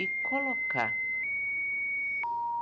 e colocar.